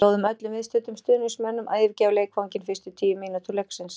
Við bjóðum öllum viðstöddum stuðningsmönnum að yfirgefa leikvanginn fyrstu tíu mínútur leiksins.